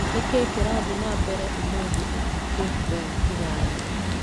Nĩkĩĩ kĩrathiĩ na mbere ũmũthĩ ũtukũ kũu Kĩgale?